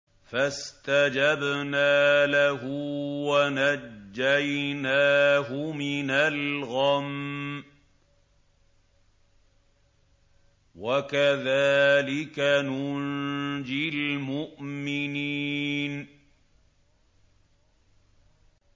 فَاسْتَجَبْنَا لَهُ وَنَجَّيْنَاهُ مِنَ الْغَمِّ ۚ وَكَذَٰلِكَ نُنجِي الْمُؤْمِنِينَ